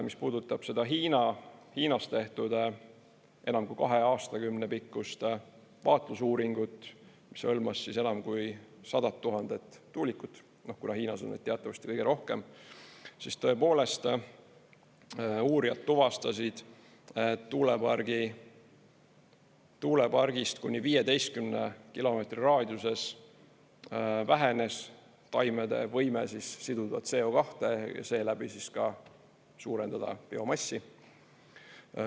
Mis puudutab seda Hiinas tehtud enam kui kahe aastakümne pikkust vaatlusuuringut, mis hõlmas enam kui 100 000 tuulikut, kuna Hiinas on neid teatavasti kõige rohkem, siis tõepoolest, uurijad tuvastasid, tuulepargist kuni 15 kilomeetri raadiuses vähenes taimede võime siduda CO2 ja seeläbi ka suurendada biomassi.